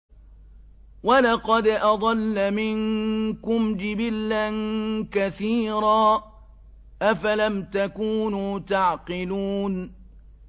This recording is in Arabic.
وَلَقَدْ أَضَلَّ مِنكُمْ جِبِلًّا كَثِيرًا ۖ أَفَلَمْ تَكُونُوا تَعْقِلُونَ